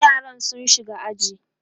yaran sun shiga aji